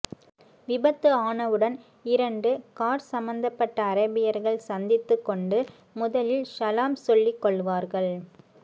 விபத்து ஆனவுடன் இரண்டு கார் சம்பத்தப்பட்ட அரேபியர்கள் சந்தித்து கொண்டு முதலில் ஸலாம் சொல்லி கொள்வார்கள்